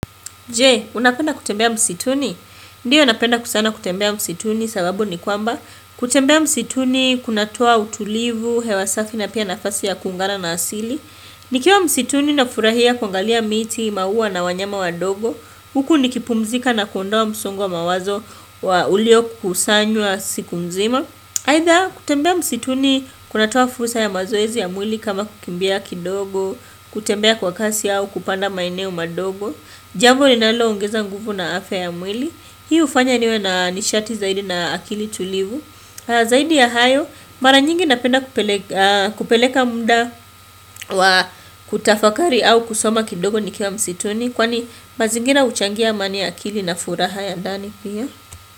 Je, unapenda kutembea msituni? Ndiyo napenda kusana kutembea msituni sababu ni kwamba kutembea msituni, kunatoa utulivu, hewasafi na pia nafasi ya kungana na asili Nikiwa msituni na furahia kuangalia miti, maua na wanyama wa dogo Huku nikipumzika na kuondoa msongo wa mawazo wa ulio kusanywa siku mzima Either kutembea msituni, kunatoa fursa ya mazoezi ya mwili kama kukimbia kidogo kutembea kwa kasi au kupanda maeneo madogo Jambo ninalo ongeza nguvu na afya ya mwili Hii ufanya niwe na nishati zaidi na akili tulivu Zaidi ya hayo mara nyingi napenda kupeleka mda wa kutafakari au kusoma kidogo nikiwa msituni Kwani mazingira uchangia amani ya akili na furaha ya ndani pia.